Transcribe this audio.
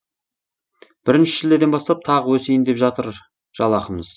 бірінші шілдеден бастап тағы өсейін деп жатыр жалақымыз